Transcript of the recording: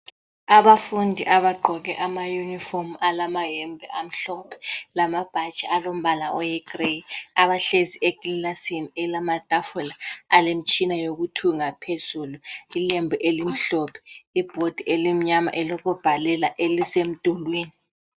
Abafundi abagqoke amayunifomu alamayembe amhlophe lamabhatshi alombala oyigrey abahlezi eklasini elamatafula alemitshina yokuthunga phezulu ilembu elimhlophe, ibhodi elimnyama elokubhalela elisemdulwini.